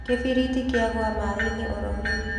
Kĩbiriti kyagũa maĩ-inĩ ororĩu.